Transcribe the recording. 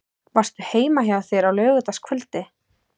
Varstu heima hjá þér á laugardagskvöldið?